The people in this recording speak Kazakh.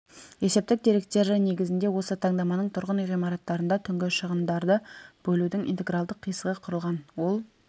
есептік деректері негізінде осы таңдаманың тұрғын үй ғимараттарында түнгі шығындарды бөлудің интегралдық қисығы құрылған ол